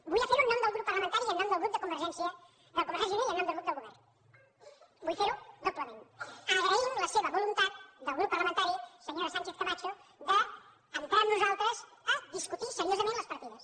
vull ferho en nom del grup parlamentari de convergència i unió i en nom del grup del govern vull fer ho doblement agraint la seva voluntat del grup parlamentari senyora sánchez camacho d’entrar amb nosaltres a discutir seriosament les partides